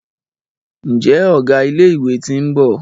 Njé Ọgá ilé ìwé t'in bó?